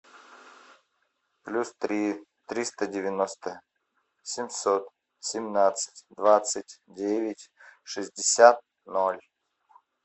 плюс три триста девяносто семьсот семнадцать двадцать девять шестьдесят ноль